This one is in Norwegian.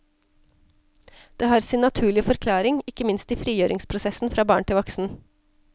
Det har sin naturlige forklaring, ikke minst i frigjøringsprosessen fra barn til voksen.